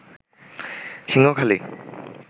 Singhakhali